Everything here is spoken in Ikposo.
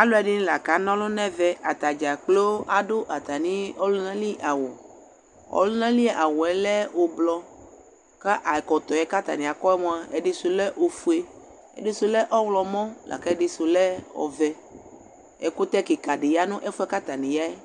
Albɛdɩnɩ la k'ana ɔlʋ n'ɛvɛ Atadzaa kplo adʋ atsmɩ ɔlʋnali awʋ Ɔlʋnali awʋ yɛ lɛ ʋblɔ k'akɔtɔ yɛ k'atanɩ akɔ mua ɛdɩ sʋ lɛ ofue, ɛdɩ sʋ lɛ ɔɣlɔmɔ lak'ɛdɩ sʋ lɛ ɔwɛ Ɛkʋtɛ kɩka dɩ ya nʋ ɛfʋ yɛ k'atanɩ ya yɛ,